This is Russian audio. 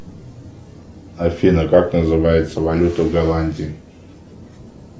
афина как называется валюта в голландии